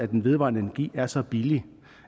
den vedvarende energi er så billig